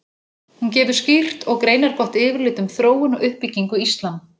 Hún gefur skýrt og greinargott yfirlit um þróun og uppbyggingu íslam.